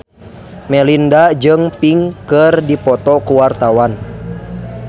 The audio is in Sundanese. Melinda jeung Pink keur dipoto ku wartawan